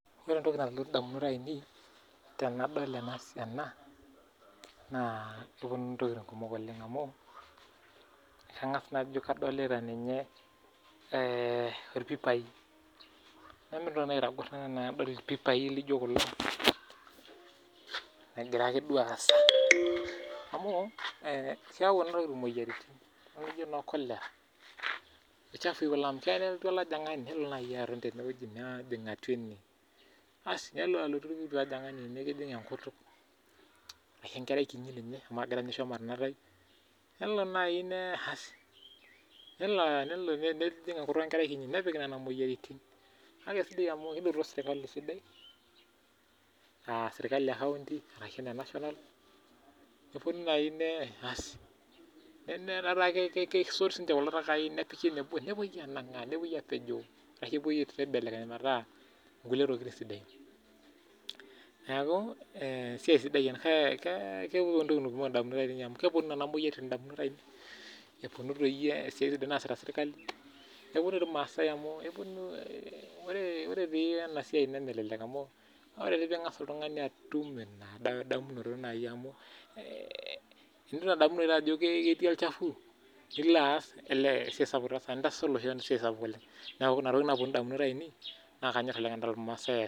Ore entoki nalotu ndamunot ainei tenadol ena, naa keponu ntokiting kumok oleng amu ,kangas najo ninye kadolita orpipai. Nemeeta neitoki nanu naitagor enaa tenadol irpipai laijo kullo ,egira duake aasa amu keyau kuna tokiting moyiariatin naijo noo cholera ichafui kuna amu keyau nelotu olajungani nelo naaji aton teneweji nejing atua ene ,asi nelotu olajungani nikijing enkutuk ashu enkerai kiti ninye amu agira ninye aisho matonotayu. Nelo nejing enkutuk enkardasi kiti nepik nena moyiaritin. Kake sidai amu kinoto sirkali sidai naa sirkali ekaonti arashu ena national, netaa keponu siininche nesot kulo takai nepiki eweji nebo nepoi anangaa ,ashu nepoi aibelekeny metaa nkulie tokiting sidain .Neeku keponu ntokiting kumok ndamunot amu keponu nena moyiaritin ndamunot ainei ,eponu esiai naasita sirkali, neponu irmaasai amu ore ena siai nemelelek amu tinidamu naa ajo ketii olachafu nilo aas ,olee intasati ilo seseni esiai sapuk oleng neeku inatoki nalotu ndamunot ainei.